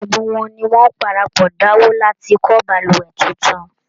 Gbogbo wọn ni wọ́n parapọ̀ dáwó láti kọ́ baluwẹ̀ tuntun